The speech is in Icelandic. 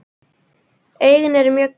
Augun eru mjög grunn.